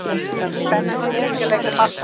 Spennandi þriggja leikja bardagi.